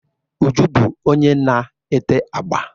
Uju bu onye na-ete agba.